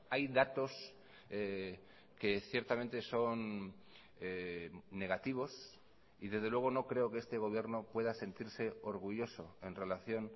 hay datos que ciertamente son negativos y desde luego no creo que este gobierno pueda sentirse orgulloso en relación